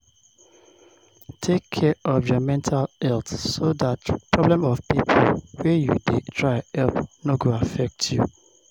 Take care of your mental health so dat problem of pipo wey you dey try help no go affect you